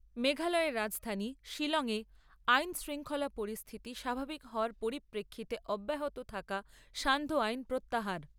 মেঘালয়ের রাজধানী শিলং এ আইন শৃঙ্খলা পরিস্থিতি স্বাভাবিক হওয়ার পরিপ্রেক্ষিতে অব্যাহত থাকা সান্ধ্য আইন প্রত্যাহার।